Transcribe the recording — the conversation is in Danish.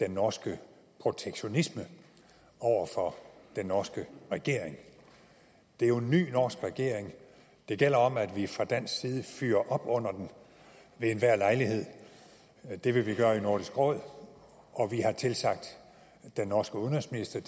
den norske protektionisme over for den norske regering det er jo en ny norsk regering det gælder om at vi fra dansk side fyrer op under den ved enhver lejlighed det vil vi gøre i nordisk råd og vi har tilsagt den norske udenrigsminister